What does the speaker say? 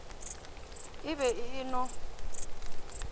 e be e e no